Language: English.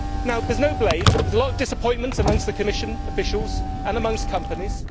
Now there is no blame. There is a lot of disappointment amongst the Commission officials and amongst companies.